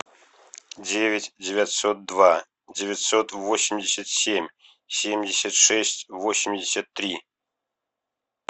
девять девятьсот два девятьсот восемьдесят семь семьдесят шесть восемьдесят три